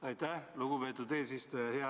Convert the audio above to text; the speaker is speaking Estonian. Aitäh, lugupeetud eesistuja!